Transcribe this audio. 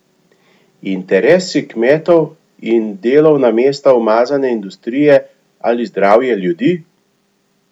Interesi kmetov in delovna mesta umazane industrije ali zdravje ljudi?